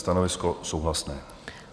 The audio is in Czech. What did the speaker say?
Stanovisko souhlasné.